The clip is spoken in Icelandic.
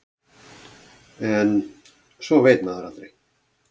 En svo veit maður aldrei.